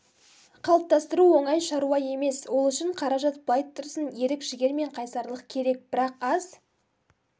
қалыптастыру оңай шаруа емес ол үшін қаражат былай тұрсын ерік-жігер мен қайсарлық керек бірақ аз